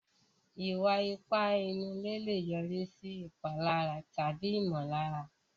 Ìwà ipá inú ilé lè yọrí sí ìpalára ara tàbí ìmọ̀lára.